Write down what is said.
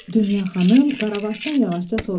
Dünya xanım Qaravaşdan yavaşca soruşdu: